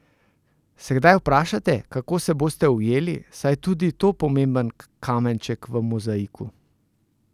Se kdaj vprašate, kako se boste ujeli, saj je tudi to pomemben kamenček v mozaiku?